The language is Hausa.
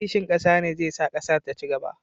Kishin ƙasa ne zai sa ƙasar ta ci gaba.